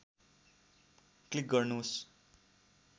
click गर्नुस्